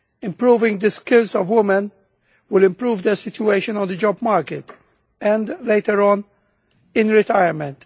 Improving the skills of women will improve their situation on the job market and, later on, in retirement.